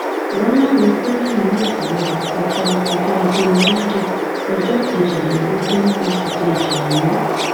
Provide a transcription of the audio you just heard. wọn láwọn fúlàní náà kò gbọdọ kọjá ọjọ ajé mọ́ńdeèọjọ kejìlélógún oṣù kejì yìí